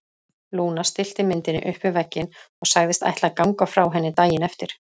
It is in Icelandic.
Lúna stillti myndinni upp við vegginn og sagðist ætla að ganga frá henni daginn eftir.